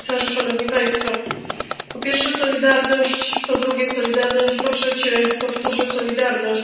Pani Przewodnicząca! Po pierwsze, solidarność, po drugie, solidarność i po trzecie powtórzę solidarność.